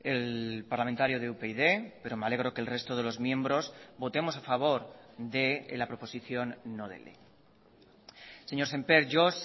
el parlamentario de upyd pero me alegro que el resto de los miembros votemos a favor de la proposición no de ley señor sémper yo